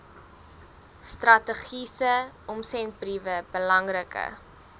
strategiese omsendbriewe belangrike